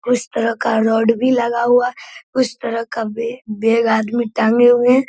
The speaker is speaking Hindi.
उस तरह का रड भी लगा हुआ है उस तरह के बेग आदमी टाँगे हुए हैं।